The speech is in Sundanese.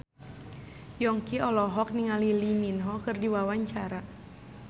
Yongki olohok ningali Lee Min Ho keur diwawancara